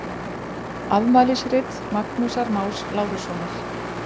Afmælisrit Magnúsar Más Lárussonar.